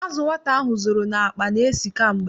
Azụ nwata ahụ zoro n'akpa na-esi kamgbe.